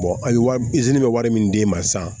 a ye wari i sini bɛ wari min d'i ma sisan